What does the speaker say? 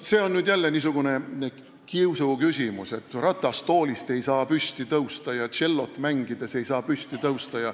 See on jälle niisugune kiusuküsimus, et keegi ei saa ratastoolist püsti tõusta või tšellot mängides püsti tõusta.